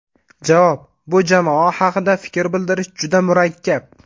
Javob: Bu jamoa haqida fikr bildirish juda murakkab.